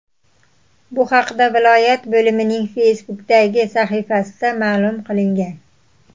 Bu haqda viloyat bo‘limining Facebook’dagi sahifasida ma’lum qilingan .